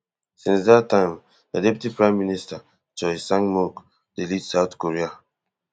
since dat time na deputy prime minister choi sangmok dey lead south korea